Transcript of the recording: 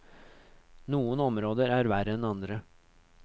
Noen områder er verre enn andre.